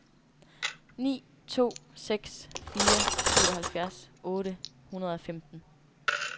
ni to seks fire syvoghalvfjerds otte hundrede og femten